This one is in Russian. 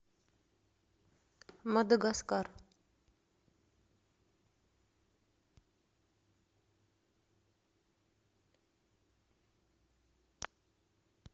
мадагаскар